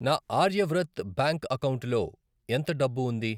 నా ఆర్యవ్రత్ బ్యాంక్ అకౌంటులో ఎంత డబ్బు ఉంది?